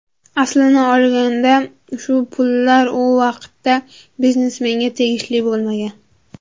Aslini olganda ushbu pullar u vaqtda biznesmenga tegishli bo‘lmagan.